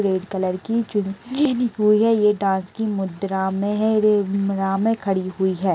रेड़ colour की हुई है ऐ दांस्के मुद्रा में ह खड़ी हुई है।